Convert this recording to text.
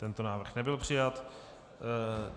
Tento návrh nebyl přijat.